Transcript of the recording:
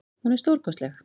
Hún er stórkostleg.